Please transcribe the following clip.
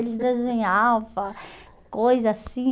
Eles desenhava, coisa assim.